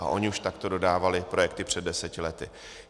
A ony už takto dodávaly projekty před deseti lety.